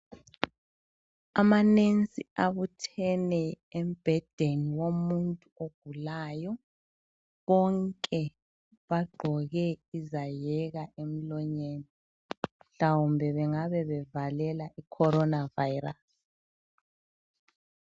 Amanensi abuthene embhedeni womuntu ogulayo. Bonke bagqoke izaheka emlonyeni mhlawumbe bengabe bevalela iCorona virus.